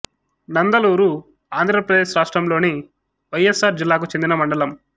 నందలూరు ఆంధ్ర ప్రదేశ్ రాష్ట్రములోని వైఎస్ఆర్ జిల్లాకు చెందిన మండలం